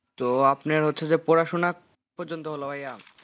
তো আপনার হচ্ছে যে পড়াশোনা পর্যন্ত হলো ভাইয়া?